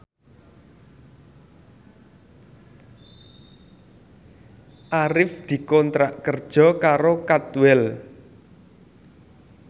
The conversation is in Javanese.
Arif dikontrak kerja karo Cadwell